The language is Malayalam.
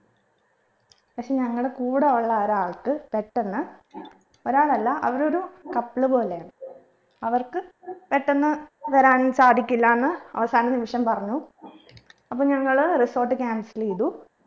പക്ഷെ ഞങ്ങളെ കൂടെ ഉള്ള ഒരാൾക്ക് പെട്ടെന്ന് ഒരാളല്ല അവരൊരു couple പോലെയാണ് അവർക്ക് പെട്ടെന്ന് വരൻ സാധിക്കില്ലാന്ന് അവസാന നിമിഷം പറഞ്ഞു അപ്പൊ ഞങ്ങൾ resort cancel ചെയ്തു